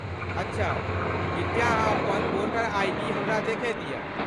अच्छा, कृपया अहाँ अपन वोटर आइ.डी. हमरा देखय दिय।